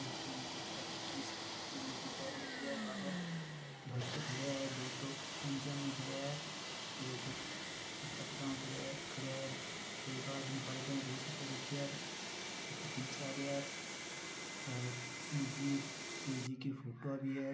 मूर्ति माताजी की शिव जी मूर्ति रखी है बाहर भक्त खड़े हैं दो तो पजामा में खड़े हैं एक कुरता पजामा में खड़े हैं एक आदमी काला पेंट और बुसेट पहन रखा है ऊपर तीन चार हैं शिव जी की फोटो भी है।